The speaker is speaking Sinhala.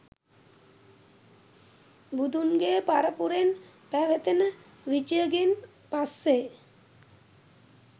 බුදුන්ගේ පරපුරෙන් පැවතෙන විජයගෙන් පස්සේ